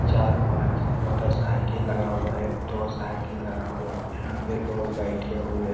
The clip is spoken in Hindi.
चार-पाँच मोटरसाइकिल लगा हुआ है दो साइकिल लगा हुआ है। यहाँ पे लोग बैठे हुए --